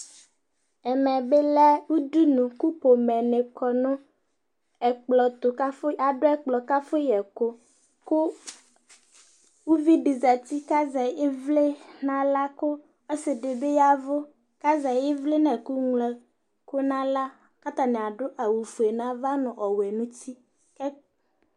ɛmɛ lɛ udunu kʊ udunualʊ wanɩ adʊ ɛkplɔ ɛtʊ kama yɛ ɛkʊ, kʊ uvidɩ zati kʊ azɛ ɩvlɩ n'aɣla, kʊ ɔsi dɩ bɩ y'ɛvʊ, kʊ azɛ ɩvlɩ nʊ ɩvlɩtsɛtsu n'aɣla, kʊ atanɩ adʊ awʊ fue n'ava nʊ ɔwɛ n'uti